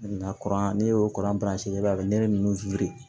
Nka kuran ne y'o kuran peranse i b'a ne ninnu